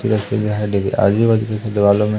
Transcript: किया है डी आजू बाजू की दीवालो में--